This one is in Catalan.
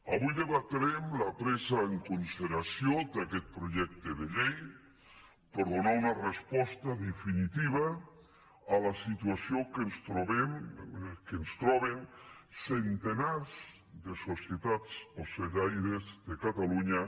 avui debatrem la presa en consideració d’aquest projecte de llei per donar una resposta definitiva a la situació que es troben centenars de societats ocellaires de catalunya